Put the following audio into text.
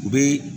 U bɛ